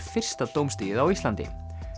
fyrsta dómstigið á Íslandi